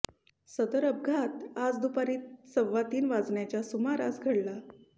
सदर अपघात आज दुपारी सव्वा तीन वाजण्याच्या सुमारास घडला